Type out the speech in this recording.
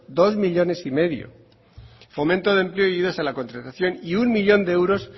dos coma cinco millónes fomento de empleo y ayudas a la contratación y uno millón de euros